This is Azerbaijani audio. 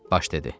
Baş dedi.